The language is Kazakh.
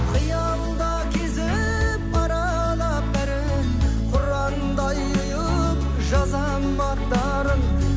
қиялда кезіп аралап бәрін құрандай ұйып жазамынн аттарын